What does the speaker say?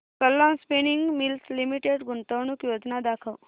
Kalam spinning mills limited गुंतवणूक योजना दाखव